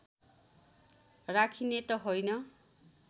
राखिने त होइन